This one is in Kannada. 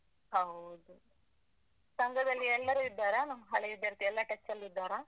ಹೌದು. ಸಂಘದಲ್ಲಿ ಎಲ್ಲರೂ ಇದ್ದಾರಾ? ನಮ್ಮ್ ಹಳೇ ವಿದ್ಯಾರ್ಥಿ ಎಲ್ಲಾ ಕೆಲ್ಸಾ ಅಲ್ಲಿ ಇದ್ದಾರಾ?